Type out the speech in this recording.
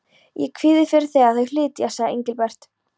Ég kvíði fyrir þegar þið flytjið, sagði Engilbert.